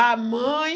A mãe...